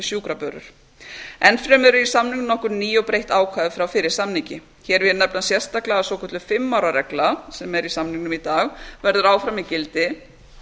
sjúkrabörur enn fremur eru í samningnum nokkur ný og breytt ákvæði frá fyrri samningi hér vil ég nefna sérstaklega að svokölluð fimm ára reglu sem er í samningnum í dag verður áfram í gildi